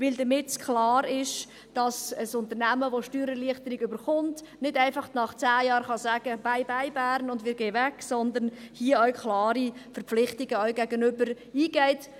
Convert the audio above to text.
Dies, damit klar ist, dass ein Unternehmen, das Steuererleichterung bekommt, nicht einfach nach 10 Jahren sagen kann: «Bye-bye, Bern, wir gehen weg!», sondern dass man hier auch klare Verpflichtungen gegenüber eingeht.